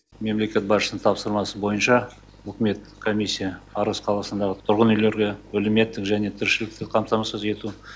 мемлекет басшысының тапсырмасы бойынша үкіметтік комиссия арыс қаласындағы тұрғын үйлерге әлеуметтік және тіршіліктік қамтамасыз ету